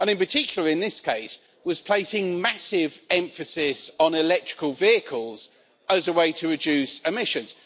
And in particular, in this case, it was placing massive emphasis on electrical vehicles as a way to reduce emissions.